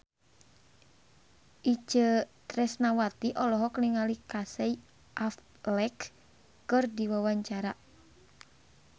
Itje Tresnawati olohok ningali Casey Affleck keur diwawancara